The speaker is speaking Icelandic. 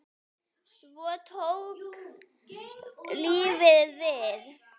Svo tók lífið við.